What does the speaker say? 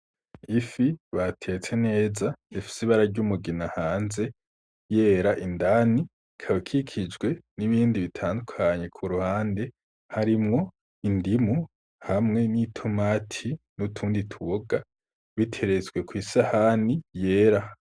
Ifi batetse neza ifise ibara ryumugina hanze yera indani ikaba ikikijwe n'ibindi bitandukanye ku ruhande harimwo indimu hamwe n'i tomati n'utundi tuboga biteretswe kw'isahani yera.